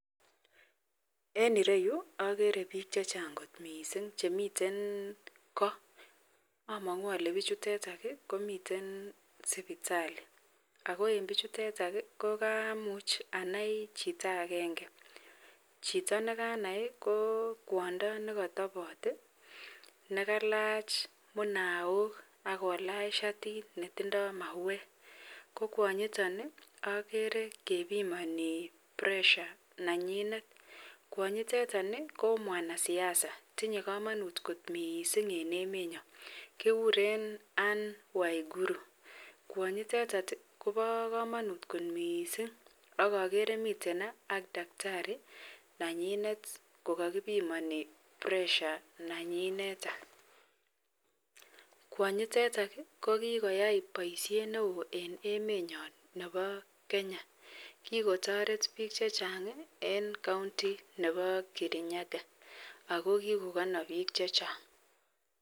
En ireyu agere bik Chechang kot mising Chemiten ko amangu Kole bichutetan komiten sibitali ako en bichutetan ko kamuch anai Chito agenge ako Chito nekanai kwondo nikatabat nekalach minaok akolach shatit netindoi mauwek kokwanyiton agere kebimani pressure nenyinet ako kwanyitetan ko mwanasiasa ako tinye kamanut neon en emet nyon kekuren Ann waigurukwanyitetan Koba kamanut kot mising agere miten ak daktari nenyinet kokakibimani pressure nenyi kwanyitetan kokikoyai baishet neon en emet nyon Nebo Kenya akokikotaret bik chechang en county Nebo Kirinyaga wkokikokanab bik chechang